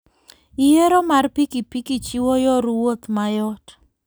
Yiero mar pikipiki chiwo yor wuoth mayot.